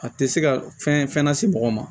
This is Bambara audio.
A tɛ se ka fɛn fɛn lase mɔgɔ ma